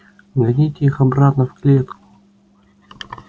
гоните их обратно в клетку